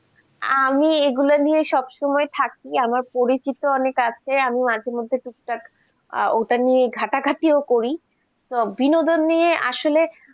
আমি এগুলো নিয়ে সবসময় থাকি, আমার পরিচিত অনেক আছে আমি মাঝেমধ্যে ওটা নিয়ে ঘাটাঘাটিও করি, ও তো বিনোদন নিয়ে আসলে